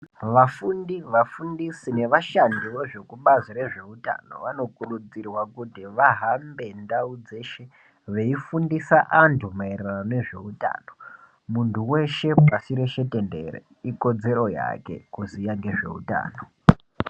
Vafundi, vafundisi nevashandi vekubazi rezveutanho vanokurudzira kuti vahambe ndau dzeshe veifundisa antu maererano nezveutano. Muntu weshe pashi reshe dendere ikodzero yake kuziva ngezveutano .